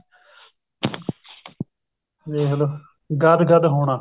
ਦੇਖਲੋ ਗਦ ਗਦ ਹੋਣਾ